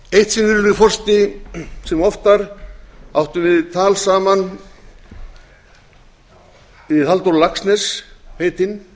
eitt sinn virðulegi forseti sem oftar áttum við tal saman við halldór laxness heitinn